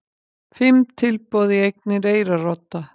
Fimm tilboð í eignir Eyrarodda